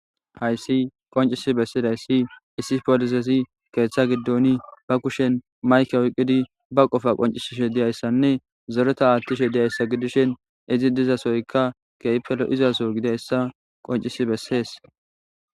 hayssi qoncisi bessidayssi issi polisesi keeththa giddoni ba kushen mayke oyqqidi ba qofa qoncisishe diyayssanne zoreta aattishe deyayssa gidishin izi dizasoyka keypelo izaso gideyssa qoncisi bessees